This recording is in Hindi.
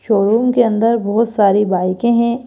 शोरूम के अंदर बहुत सारी बाइकें हैं।